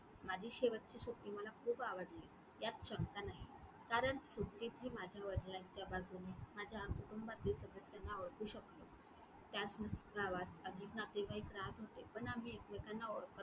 माझी शेवटची सुट्टी मला खूप आवडली ह्यात शंका नाही कारण सुट्टीतही माझ्या वडिलांच्या बाजूने, माझ्या कुटुंबातील सदस्यांना ओळखू शकलो. त्याच गावात अधिक नातेवाईक राहत होते पण आम्ही एकमेकांना ओळखत